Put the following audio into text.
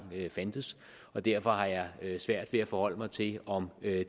fandtes og derfor har jeg svært ved at forholde mig til om